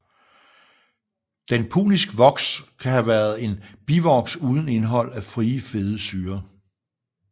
Den punisk voks kan have være en bivoks uden indhold af frie fede syrer